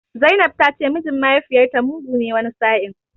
Zainab ta ce mijin mahaifiyarta mugu ne wani sa'in.